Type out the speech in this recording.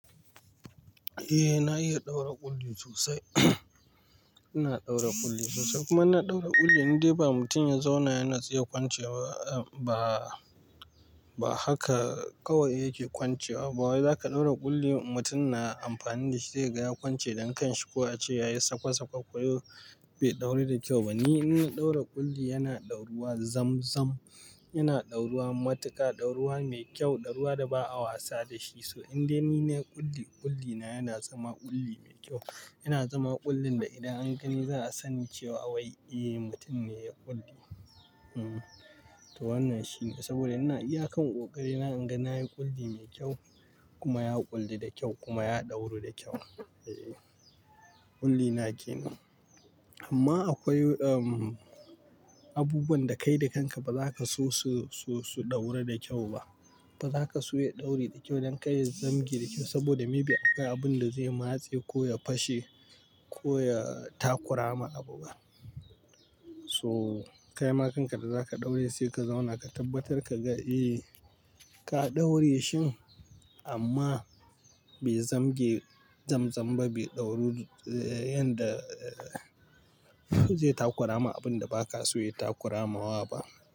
Eh, na iya ɗaura ƙulli sosai. Ina ɗaura ƙulli sosai kuma na ɗaura ƙulli indai ba mutum ya zauna ya nitsu ya kwance ba, ba haka kawai yake kwancewa ba. Wai zaka ɗaura ƙulli mutum na amfani da shi zai gaya kwance dankanshi ko a ce ya yi sakwa-sakwa koyaushe bai ɗauri da kyau ba. Ni ina ɗaura ƙulli yana ɗaura zam-zam, yana ɗauruwa matuƙa, ɗauruwa mai kyau, ɗauruwa da ba a wasa da shi. So inda nine ƙulli, ƙulli na yana zama ƙulli mai kyau. Yana zama ƙullin da idan an gani za a sani cewa awai, eh mutum ne ya ƙulli. Hmm to wannan shine saboda ina iya kan ƙoƙarina, ina ganin na yi ƙulli mai kyau kuma ya ƙulli da kyau kuma ya ɗauru da kyau. Eeh ƙulli na kenan. Amma akwai umm abubuwan da kai da kanka ba zaka so su, su, su ɗauru da kyau ba. Ba za ka so yin ɗauri da kyau don ka zamge da kyau saboda may be aka yi abun da zai matse ko ya fashe ko ya takurama abu. So kaima da kanka da zaka ɗaure sai ka zauna ka tabbatar ka ga eh ka ɗaure shi amma bai zamge zam-zam ba, bai ɗauru yanda zai takurama abun da ba ka so ya takurama wa ba.